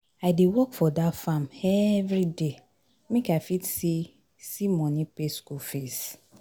I dey work for dat farm everyday make I fit see see money pay skool fees